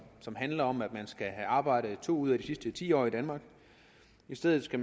som handler om at man skal have arbejdet to år ud af de sidste ti år i danmark i stedet skal